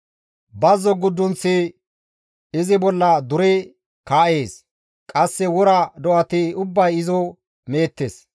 Bazzo guddunththi izi bolla duri kaa7ees; qasse wora do7ati ubbay izo meettes.